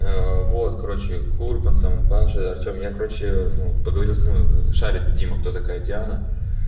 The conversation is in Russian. вот короче курбан там паша артём я короче ну поговорил с ну шарит дима кто такая диана